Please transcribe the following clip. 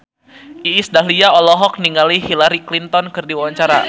Iis Dahlia olohok ningali Hillary Clinton keur diwawancara